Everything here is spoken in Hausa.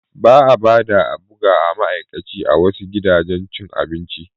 Ba a bada a bu ga ama'aikaci a wasu gidajen cin abinci.